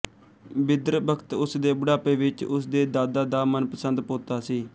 ਬਿਦਰ ਬਖਤ ਉਸ ਦੇ ਬੁਢਾਪੇ ਵਿੱਚ ਉਸ ਦੇ ਦਾਦਾ ਦਾ ਮਨਪਸੰਦ ਪੋਤਾ ਸੀ